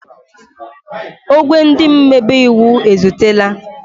Ogwé ndị omebe iwu ezutela.